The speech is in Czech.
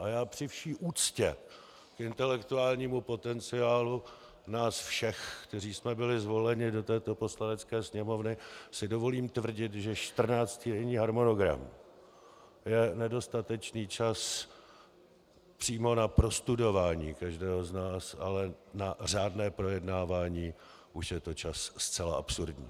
A já při vší úctě k intelektuálnímu potenciálu nás všech, kteří jsme byli zvoleni do této Poslanecké sněmovny, si dovolím tvrdit, že čtrnáctidenní harmonogram je nedostatečný čas přímo na prostudování každého z nás, ale na řádné projednávání už je to čas zcela absurdní.